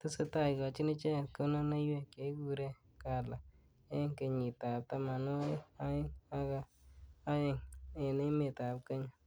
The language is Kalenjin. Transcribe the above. Tesetai kikochini icheket kunonuiwek chekikure gala enge kenyit ab tamanwagik aeng aka aeng eng emet ab Kenya.